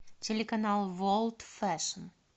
телеканал ворлд фэшн